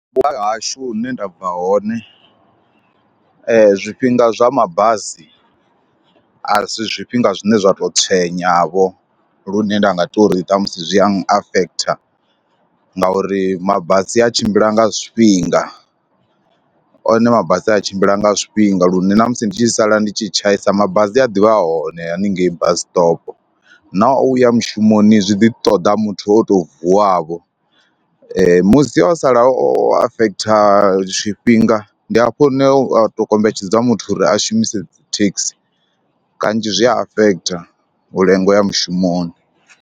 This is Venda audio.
Vhupo ha hashu hune nda bva hone zwifhinga zwa mabasi a si zwifhinga zwine zwa tou tswenyavho lune nda nga tou ri ṱhamusi zwi a afekhitha ngauri mabasi a tshimbila nga zwifhinga. One mabasi a tshimbila nga zwifhinga lune na musi ndi tshi sala ndi tshi tshaisa mabasi a ḓivha hone haningei basi stop na u ya mushumoni zwi ḓi ṱoḓa muthu o tou vuwavho. Musi o sala o afekhitha tshifhinga ndi hafho hune u tou kombetshedza muthu uri a shumise dzi thekhisi, kanzhi zwi a afekhitha u lenga u ya mushumoni.